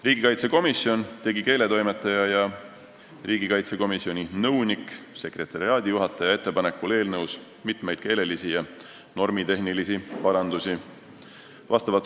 Riigikaitsekomisjon tegi keeletoimetaja ja riigikaitsekomisjoni nõunik-sekretariaadijuhataja ettepanekul eelnõus mitmeid keelelisi ja normitehnilisi parandusi.